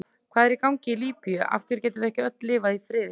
Hvað er í gangi í Líbíu, af hverju getum við ekki öll lifað í friði?